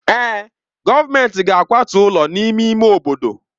Èè, gọọmentị ga-akwatu ụlọ n'ime ime obodo.